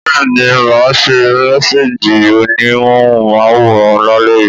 Bẹ́ẹ̀ni máa ṣe mẹ́sééjì òní móhùn máwòrán lálẹ́ yìí